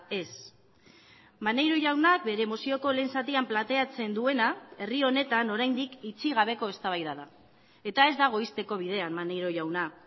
ez maneiro jaunak bere mozioko lehen zatian planteatzen duena herri honetan oraindik itxi gabeko eztabaida da eta ez dago ixteko bidean maneiro jauna